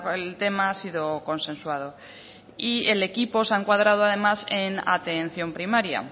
el tema ha sido consensuado y el equipo se ha encuadrado además en atención primaria